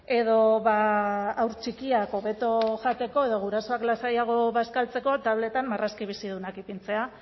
edo haur txikiak hobeto jateko edo gurasoak lasaiago bazkaltzeko tabletan marrazki bizidunak ipintzea